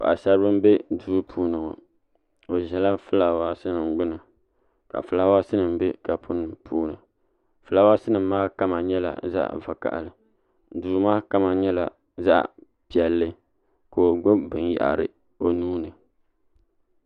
Paɣasaribili n bɛ duu puuni ŋo o ʒila fulaawaasi nim gbuni ka fulaawaasi nim bɛ kapu puuni fulaawaasi nim maa kama nyɛla zaɣ vakaɣali duu maa kama nyɛla zaɣ piɛlli ka o gbubi binyahari o nuuni